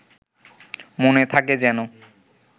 মনে থাকে যেন